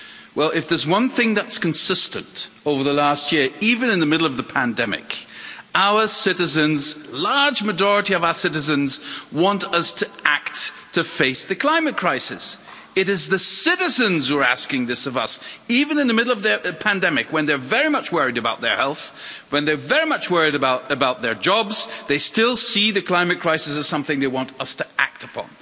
Well, if there's one thing that's consistent over the last year even in the middle of the pandemic a large majority of our citizens want us to act to face the climate crisis. It is the citizens who are asking this of us even in the middle of the pandemic, when they're very much worried about their health, when they are very much worried about their jobs, they still see the climate crisis as something they want us to act upon.